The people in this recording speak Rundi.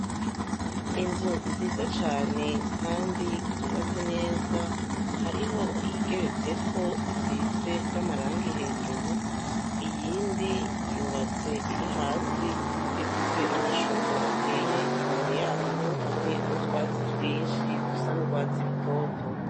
Inzu nziza cane, kandi zubatse neza hariho yigeretseko isize n'amarangi hejuru iyindi yubatse iri hasi ifise amashure ateye imbere yaho hamwe n'utwatsi twinshi dusa ndwatsi rutoto.